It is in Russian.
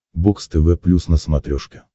бокс тв плюс на смотрешке